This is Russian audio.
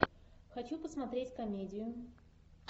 хочу посмотреть комедию